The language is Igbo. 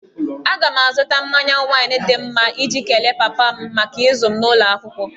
Aga m azụta mmanya waịn dị mma iji kelee papa m maka ịzụ m n'ụlọ akwụkwọ